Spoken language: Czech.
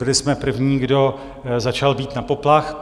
Byli jsme první, kdo začal bít na poplach.